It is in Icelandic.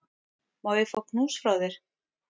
Má ég fá knús frá þér?